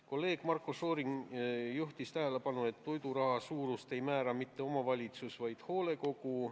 Kolleeg Marko Šorin juhtis tähelepanu, et toiduraha suurust ei määra mitte omavalitsus, vaid hoolekogu.